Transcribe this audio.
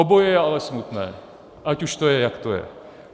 Oboje je ale smutné, ať už to je, jak to je.